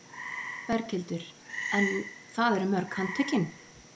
Berghildur: En það eru mörg handtökin?